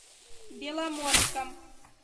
беломорском